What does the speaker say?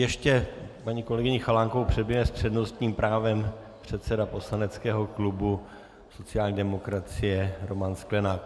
Ještě paní kolegyni Chalánkovou předběhne s přednostním právem předseda poslaneckého klubu sociální demokracie Roman Sklenák.